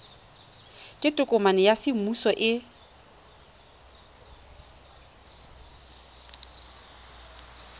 ke tokomane ya semmuso e